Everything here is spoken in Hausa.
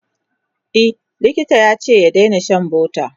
e likita yace ya Daina Shan butter